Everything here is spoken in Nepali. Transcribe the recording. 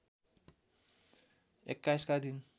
२१ का दिन